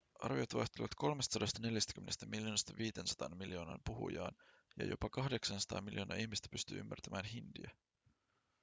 arviot vaihtelevat 340 miljoonasta 500 miljoonaan puhujaan ja jopa 800 miljoonaa ihmistä pystyy ymmärtämään hindiä